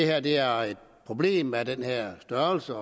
at det er et problem af den her størrelse